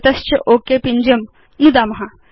तत च ओक पिञ्जं नुदतु